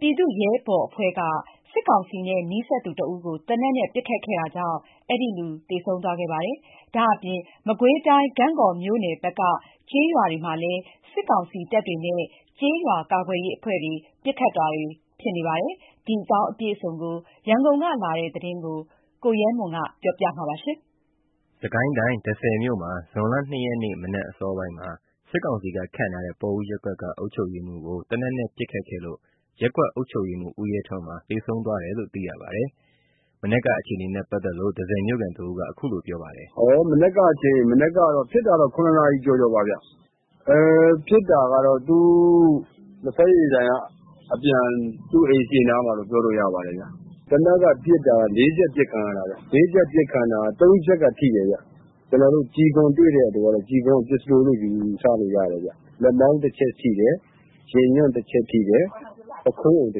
ပြည်သူ့ရဲဘော်အဖွဲ့က စစ်ကောင်စီနဲ့နီးစပ်သူတဦးကို သေနတ်နဲ့ပစ်ခတ်ခဲ့သေဆုံးသွားခဲ့ပါတယ်။ ဒါ့အပြင် မကွေးတိုင်း ဂန့်ဂေါမြို့နယ်ဘက်က ကျေးရွာတွေမှာလည်း စစ်ကောင်စီတပ်တွေနဲ့ ကျေးရွာကာကွယ်ရေးအဖွဲ့တွေ ပစ်ခတ်တာတွေ ဖြစ်နေပါတယ်။ ဒီအကြောင်းအပြည့်အစုံ ရန်ကုန်ကလာတဲ့ သတင်းကို ရဲမွန် ကပြောပြပါမယ်။ စစ်ကိုင်းတိုင်း တန့်ဆည်မြို့မှာ ဒီကနေ့ ဇွန် ၂ ရက် မနက်အစောပိုင်းမှာ စစ်ကောင်စီက ခန့်ထားတဲ့ ပေါ်ဦးရပ်ကွက်က အုပ်ချုပ်ရေးမှူးကို သေနတ်နဲ့ပစ်ခတ်ခဲ့လို့ ရပ်ကွက်အုပ်ချုပ်ရေးမှူး ဦးရဲထွန်းမှာ သေဆုံးသွားပါတယ်။ ဒီကနေ့ မနက်အခြေအနေနဲ့ပတ်သက်လို့ တန့်ဆည်မြို့ခံတဦးက အခုလိုပြောပါတယ်။ “မနက်က ၇ နာရီကျော်ကျော်ပါခင်ဗျ။ သူလဖက်ရည်ဆိုင်ကအပြန် သူ့အိမ်ရှေ့နားမှာလို့ ပြောလို့ရပါတယ်ခင်ဗျ။ သေနတ်ကပစ်တာ ၄ ချက်အပစ်ခံရတာ ၃ ချက်က ထိတယ်။ ကျွန်တော်တို့ ကျည်ခွံတွေ့တဲ့အတွက် ကျည်ခွံက ပစ္စတိုလို့ ယူဆလို့ရတယ်ခင်ဗျ။ လက်မောင်း တချက်ထိတယ်။ ရင်ညွန့်တချက်ထိတယ်။ ပခုံးကိုတ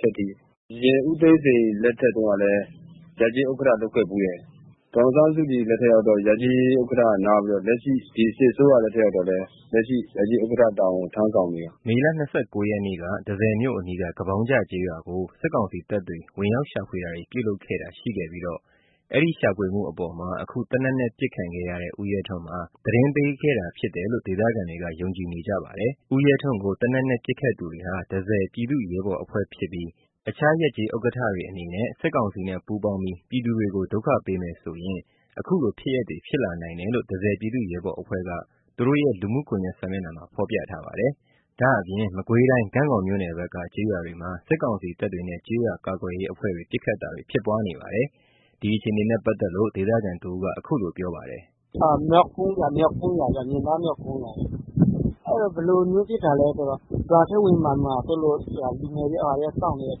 ချက်ထိတယ်။ အရင်ဦးသိန်းစိန် လက်ထက်တုန်းကလည်း ရပ်ကျေးဥက္ကဌ လုပ်ခဲ့ဖူးတယ်။ ဒေါ်အောင်ဆန်းစုကြည် လက်ထက်ရောက်တော့ ရပ်ကျေးဥက္ကဌက နားပြီး လက်ရှိ ဒီစစ်အစိုးရလက်ထက်ရောက်တော့လည်း ဥက္ကဌ တာဝန်ထမ်းဆောင်နေတာ။” မေ ၂၉ ရက်က တန့်ဆည်မြို့အနီးက ကပေါင်းကျကျေးရွာကို စစ်ကောင်စီတပ်တွေ ဝင်ရောက်ရှာဖွေတာတွေ ပြုလုပ်ခဲ့တာရှိပြီး အဲ့ဒီရှာဖွေမှုအပေါ်မှာ အခုသေနတ်နဲ့ပစ်ခံရတဲ့ ဦးရဲထွန်းမှာ သတင်းပေးခဲ့တာဖြစ်တယ်လို့ ဒေသခံတွေက ယုံကြည်နေကြပါတယ်။ ဦးရဲထွန်းကို သေနတ်နဲ့ပစ်ခတ်သူတွေဟာ တန့်ဆည်ပြည်သူ့ ရဲဘော် အဖွဲ့ဖြစ်ပြီး တခြား ရပ်ကျေးဥက္ကဌတွေအနေနဲ့ စစ်ကောင်စီနဲ့ ပူးပေါင်းပြီး ပြည်သူတွေကို ဒုက္ခပေးမယ်ဆိုရင် အခုလို ဖြစ်ရပ်တွေ ဖြစ်လာနိုင်တယ်လို့ တန့်ဆည် ပြည်သူ့ရဲဘော်အဖွဲ့က သူတို့ရဲ့ လူမှုကွန်ယက် စာမျက်နှာမှာ ဖော်ပြထားပါတယ်။ ဒါ့အပြင် မကွေးတိုင်း ဂန့်ဂေါမြို့နယ်ဘက်က ကျေးရွာတွေမှာ စစ်ကောင်စီတပ်တွေနဲ့ ကျေးရွာကာကွယ်ရေး အဖွဲ့တွေ ပစ်ခတ်တာတွေ ဖြစ်ပွားနေပါတယ်။ ဒီအခြေအနေနဲ့ပတ်သက်လို့ ဒေသခံတဦးက အခုလိုပြောပါတယ်။ “မြောက်ကုန်းရွာ မြင်သား မြောက်ကုန်းရွာဗျ။ ရွာထဲဝင်လာမှာ ဆိုးလို့လူငယ်တွေက စောင့်နေတာ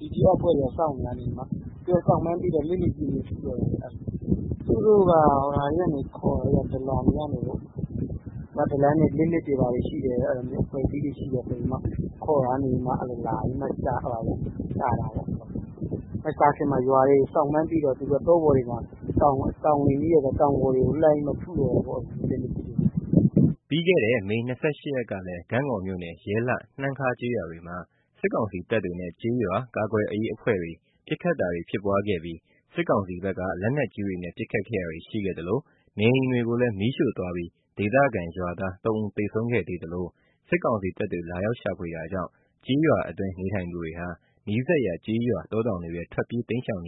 ။ PDF အဖွဲ့တွေက စောင့်နေတာကနေ စောင့်မှန်းသိတော့ လက်နက်ကြီးနဲ့ထုတယ်။ သူတို့က ဒလန်တွေက ခေါ်လာတာ။ ဒလန်က လက်နက်တွေ ရှိတယ် အဖွဲ့အစည်းတွေရှိတယ်ဆိုပြီး ခေါ်တာကနေမှ လာပြီးတော့ ရှာတာပေါ့။ မရှာခင်မှာ ရွာတွေက စောင့်မှန်းသိတော့ တောတွေ တောင်တွေကို လက်နက်ကြီးနဲ့ထုတော့တာပေါ့။” ပြီးခဲ့တဲ့ မေ ၂၈ ရက်ကလည်း ဂန့်ဂေါမြို့နယ် ရဲလှ နှမ်းခါးကျေးရွာတွေမှာ စစ်ကောင်စီတပ်တွေနဲ့ ကျေးရွာ ကာကွယ်ရေးအဖွဲ့တွေ ပစ်ခတ်တာတွေဖြစ်ပွားခဲ့ပြီး စစ်ကောင်စီဘက်က လက်နက်ကြီးတွေနဲ့ ပစ်ခတ်တာတွေ ရှိခဲ့သလို နေအိမ်တွေကိုလည်း မီးရှို့သွားပြီး ဒေသခံရွာသား ၃ ဦးသေဆုံးခဲ့သေးသလို စစ်ကောင်စီတပ်တွေ လာရောက်ရှာဖွေတာကြောင့် ကျေးရွာအတွင်း နေထိုင်သူတွေဟာ နီးစပ်ရာ ကျေးရွာတောတောင်တွေထဲ ထွက်ပြေး တိမ်းရှောင်နေ